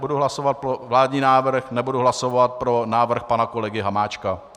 Budu hlasovat pro vládní návrh, nebudu hlasovat pro návrh pana kolegy Hamáčka.